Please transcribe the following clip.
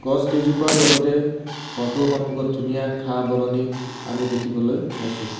গছ কেইজোপাৰ লগতে ঘৰটোৰ সম্মুখত ধুনীয়া ঘাঁহ-বননি আমি দেখিবলৈ পাইছোঁ।